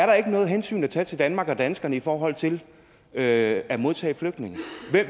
der er noget hensyn at tage til danmark og danskerne i forhold til at modtage flygtninge